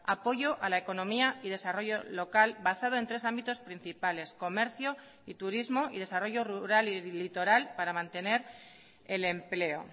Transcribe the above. apoyo a la economía y desarrollo local basado en tres ámbitos principales comercio y turismo y desarrollo rural y litoral para mantener el empleo